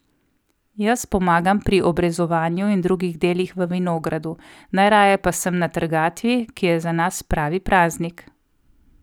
Jaz pomagam pri obrezovanju in drugih delih v vinogradu, najraje pa sem na trgatvi, ki je za nas pravi praznik.